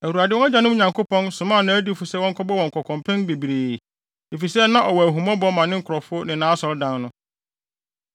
Awurade, wɔn agyanom Nyankopɔn, somaa nʼadiyifo sɛ wɔnkɔbɔ wɔn kɔkɔ mpɛn bebree, efisɛ na ɔwɔ ahummɔbɔ ma ne nkurɔfo ne nʼAsɔredan no.